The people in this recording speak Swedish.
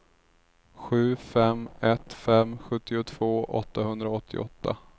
sju fem ett fem sjuttiotvå åttahundraåttioåtta